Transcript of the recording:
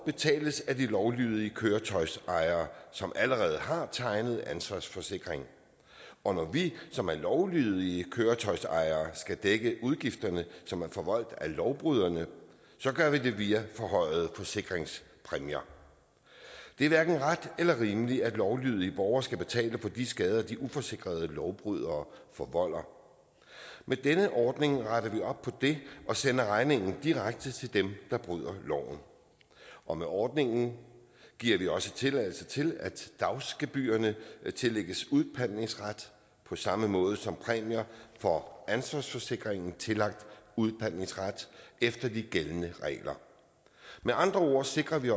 betales af de lovlydige køretøjsejere som allerede har tegnet ansvarsforsikring og når vi som er lovlydige køretøjsejere skal dække udgifterne som er forvoldt af lovbryderne så gør vi det via forhøjede forsikringspræmier det er hverken ret eller rimeligt at lovlydige borgere skal betale for de skader de uforsikrede lovbrydere forvolder med denne ordning retter vi op på det og sender regningen direkte til dem der bryder loven og med ordningen giver vi også tilladelse til at dagsgebyrerne tillægges udpantningsret på samme måde som præmier for ansvarsforsikringen er tillagt udpantningsret efter de gældende regler med andre ord sikrer vi